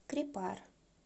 крепар